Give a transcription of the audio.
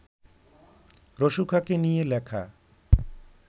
রসু খাঁকে নিয়ে লেখা